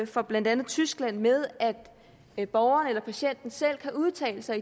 fra blandt andet tyskland med at borgeren eller patienten selv kan udtale sig